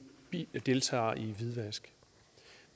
deltager i hvidvask